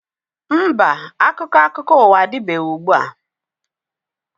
Mba, akwụkwọ akụkọ ụwa adịbeghị ugbua.